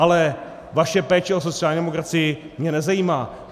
Ale vaše péče o sociální demokracii mě nezajímá.